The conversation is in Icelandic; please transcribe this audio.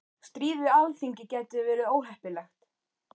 Stríð við Alþingi gæti verið óheppilegt